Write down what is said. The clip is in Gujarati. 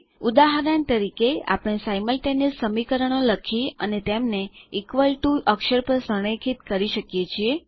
ઉદાહરણ તરીકે આપણે સિમલ્ટેનિયસ સમીકરણો લખી અને તેમને ઇક્વલ ટીઓ અક્ષર પર સંરેખિત કરી શકીએ છીએ